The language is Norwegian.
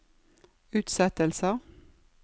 utsettelser